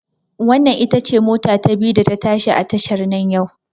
Wannan ita ce mota ta biyu da ta tashi a tashar nan yau